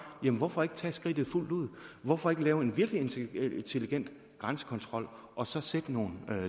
jamen hvorfor ikke tage skridtet fuldt ud hvorfor ikke lave en virkelig intelligent grænsekontrol og så sætte nogle